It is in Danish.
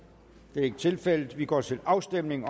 det er ikke tilfældet og vi går til afstemning